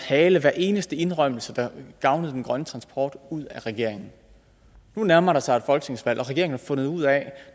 hale hver eneste indrømmelse der gavnede den grønne transport ud af regeringen nu nærmer der sig et folketingsvalg og har fundet ud af at